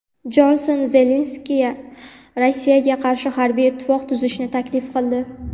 Jonson Zelenskiyga Rossiyaga qarshi harbiy ittifoq tuzishni taklif qildi.